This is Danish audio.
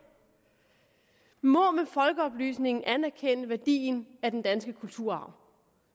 må med folkeoplysningen anerkende værdien af den danske kulturarv